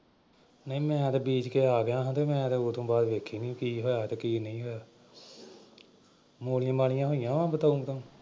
ਨਈਂ ਮੈਂ ਤਾਂ ਬੀਜ ਕੇ ਆ ਗਿਆ ਹਾਂ ਤੇ ਮੈਂ ਤਾਂ ਉਦੂੰ ਬਾਅਦ ਵੇਖੀ ਨਈਂ ਕੀ ਹੋਇਆ ਤੇ ਕੀ ਨਈਂ ਹੋਇਆ ਮੂਲੀਆਂ ਮਾਲੀਆਂ ਹੋਈਆਂ ਵਾਂ ਬਤਾਊਂ ਬਤਾਊਂ।